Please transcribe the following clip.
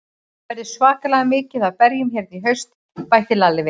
Það verður svakalega mikið af berjum hérna í haust, bætti Lalli við.